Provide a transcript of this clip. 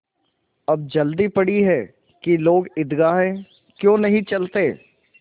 अब जल्दी पड़ी है कि लोग ईदगाह क्यों नहीं चलते